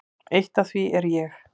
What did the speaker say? Eitt af því er ég.